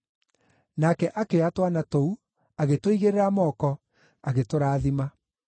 Nake akĩoya twana tũu, agĩtũigĩrĩra moko, agĩtũrathima.